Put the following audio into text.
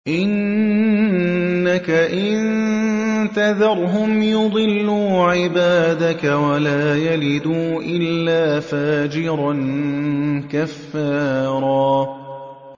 إِنَّكَ إِن تَذَرْهُمْ يُضِلُّوا عِبَادَكَ وَلَا يَلِدُوا إِلَّا فَاجِرًا كَفَّارًا